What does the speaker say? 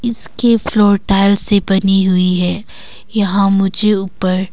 इसके floor tile से बनी हुई है यहां मुझे ऊपर--